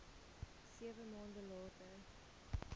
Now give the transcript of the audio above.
sewe maande later